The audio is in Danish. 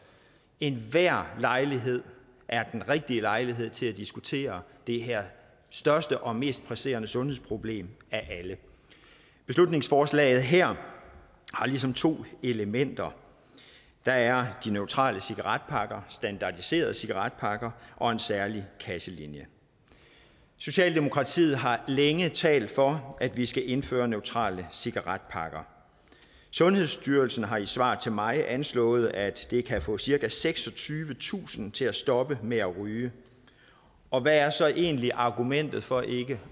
enhver lejlighed er den rigtige lejlighed til at diskutere det her største og mest presserende sundhedsproblem af alle beslutningsforslaget her har ligesom to elementer der er de neutrale cigaretpakker standardiserede cigaretpakker og en særlig kasselinje socialdemokratiet har længe talt for at vi skal indføre neutrale cigaretpakker sundhedsstyrelsen har i svar til mig anslået at det kan få cirka seksogtyvetusind til at stoppe med at ryge og hvad er så egentlig argumentet for ikke